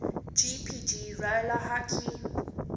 jpg roller hockey